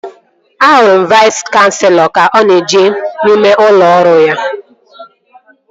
Ahụrụ m Vais kanselọ ka ọ na-eje n'ime ụlọ ọrụ ya